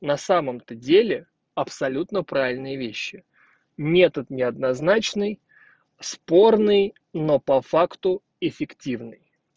на самом-то деле абсолютно правильные вещи метод неоднозначной спорный но по факту эффективный